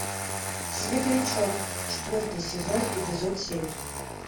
светлячок четвертый сезон эпизод семь